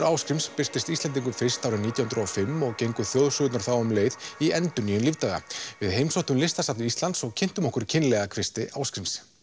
Ásgríms birtist Íslendingum fyrst árið nítján hundruð og fimm og gengu þjóðsögurnar þá um leið í endurnýjun lífdaga við heimsóttum Listasafn Íslands og kynntum okkur kynlega kvisti Ásgríms